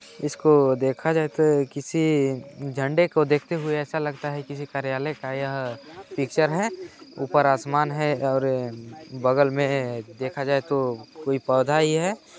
इसको देखा जाए तो किसी झंडे को देखते हुए ऐसा लगता है किसी कार्यालय का यह पिक्चर हैं ऊपर आसमान है और बगल में देखा जाए तो कोई पौधा ही हैं ।